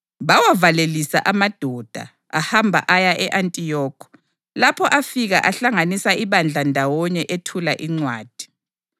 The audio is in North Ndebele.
Bawavalelisa amadoda ahamba aya e-Antiyokhi, lapho afika ahlanganisa ibandla ndawonye ethula incwadi.